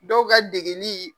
Dɔw ka degenin